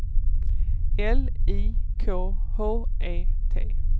L I K H E T